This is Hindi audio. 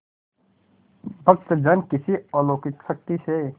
भक्तजन किसी अलौकिक शक्ति से